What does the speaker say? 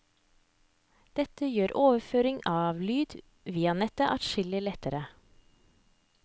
Dette gjør overføring av lyd via nettet adskillig lettere.